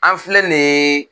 An filɛ nin